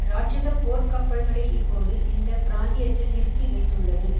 இராட்சதப் போர்க் கப்பல்களை இப்போது இந்த பிராந்தியத்தில் நிறுத்தி வைத்துள்ளது